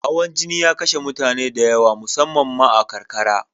Hawan jini ya kashe mutane da yawa, musammam ma a karkara.